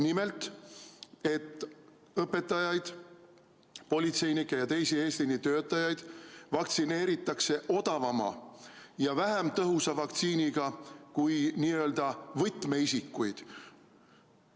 Nimelt, õpetajaid, politseinikke ja teisi eesliinitöötajaid vaktsineeritakse odavama ja vähem tõhusa vaktsiiniga kui n-ö võtmeisikuid.